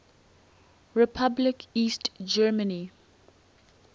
republic east germany